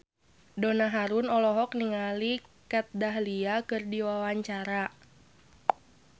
Donna Harun olohok ningali Kat Dahlia keur diwawancara